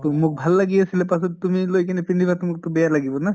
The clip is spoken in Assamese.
তʼ মোক ভাল লাগি আছিলে পাছত তুমি লৈ কেনে পিন্ধিবা তো মোক তো বেয়া লাগিব না